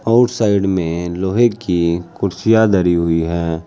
और साइड में लोहे की कुर्सियां धरी हुई हैं।